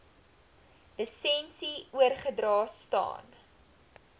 lisensie oorgedra staan